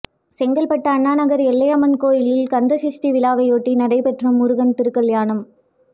செங்கல்பட்டு அண்ணாநகா் எல்லையம்மன்கோயிலில் கந்தசஷ்டிவிழாவையொட்டி நடைபெற்ற முருகன் திருகல்யாணம்